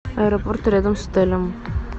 аэропорт рядом с отелем